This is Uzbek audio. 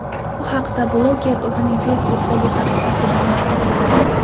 Bu haqda bloger o‘zining Facebook’dagi sahifasida ma’lum qildi .